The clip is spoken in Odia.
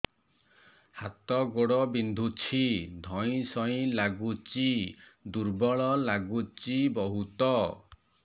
ହାତ ଗୋଡ ବିନ୍ଧୁଛି ଧଇଁସଇଁ ଲାଗୁଚି ଦୁର୍ବଳ ଲାଗୁଚି ବହୁତ